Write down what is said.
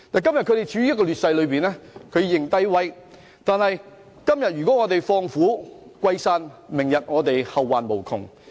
他們今天處於劣勢，便要"認低威"；如果我們今天放虎歸山，明日就會後患無窮。